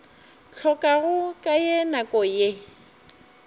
hlokago ka ye nako ke